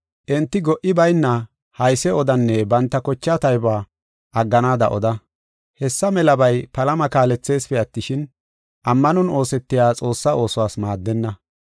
Enti go77i bayna hayse odanne banta kocha taybuwa agganaada oda. Hessa melabay palama kaaletheesipe attishin, ammanon oosetiya Xoossaa oosuwas maaddenna.